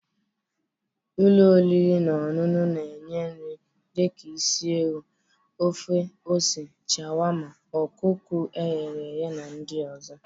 Ụlọ oriri na ọṅụṅụ na-enye nri dị ka isi ewu, ofe ose, sharwarmma, ọkụkọ eghe na ndị ọzọ.